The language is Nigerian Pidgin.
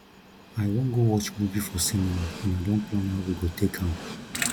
i wan go watch movie for cinema and i don plan how we go take am